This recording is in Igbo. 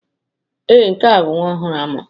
Ee, nke a bụ nwa ọhụrụ a mụrụ.